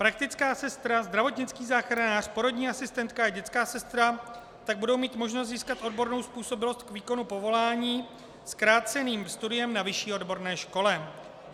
Praktická sestra, zdravotnický záchranář, porodní asistentka a dětská sestra tak budou mít možnost získat odbornou způsobilost k výkonu povolání zkráceným studiem na vyšší odborné škole.